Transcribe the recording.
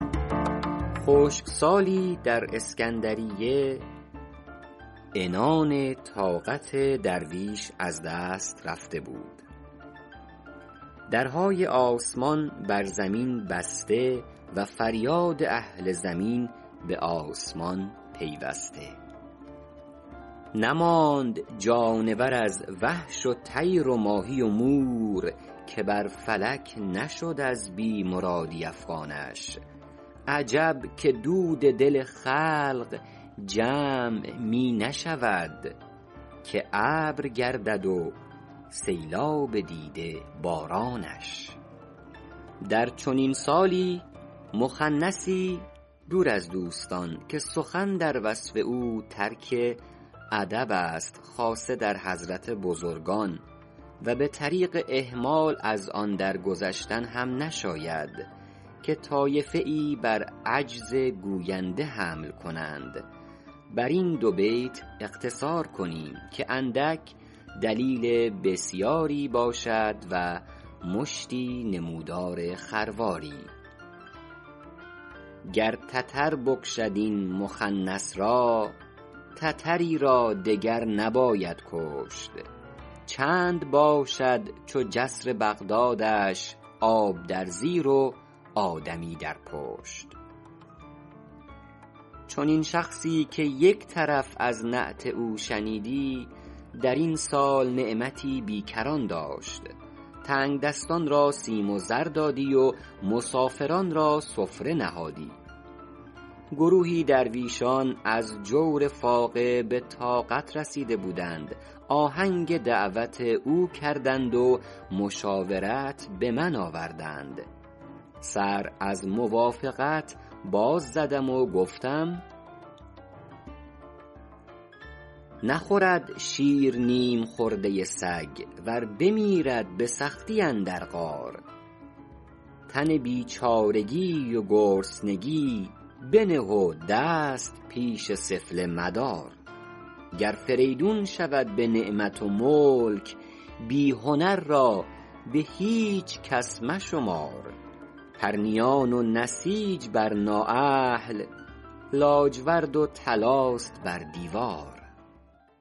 خشکسالی در اسکندریه عنان طاقت درویش از دست رفته بود درهای آسمان بر زمین بسته و فریاد اهل زمین به آسمان پیوسته نماند جانور از وحش و طیر و ماهی و مور که بر فلک نشد از بی مرادی افغانش عجب که دود دل خلق جمع می نشود که ابر گردد و سیلاب دیده بارانش در چنین سال مخنثی دور از دوستان که سخن در وصف او ترک ادب است خاصه در حضرت بزرگان و به طریق اهمال از آن در گذشتن هم نشاید که طایفه ای بر عجز گوینده حمل کنند بر این دو بیت اقتصار کنیم که اندک دلیل بسیاری باشد و مشتی نمودار خرواری گر تتر بکشد این مخنث را تتری را دگر نباید کشت چند باشد چو جسر بغدادش آب در زیر و آدمی در پشت چنین شخصی -که یک طرف از نعت او شنیدی- در این سال نعمتی بیکران داشت تنگدستان را سیم و زر دادی و مسافران را سفره نهادی گروهی درویشان از جور فاقه به طاقت رسیده بودند آهنگ دعوت او کردند و مشاورت به من آوردند سر از موافقت باز زدم و گفتم نخورد شیر نیم خورده سگ ور بمیرد به سختی اندر غار تن به بیچارگی و گرسنگی بنه و دست پیش سفله مدار گر فریدون شود به نعمت و ملک بی هنر را به هیچ کس مشمار پرنیان و نسیج بر نااهل لاجورد و طلاست بر دیوار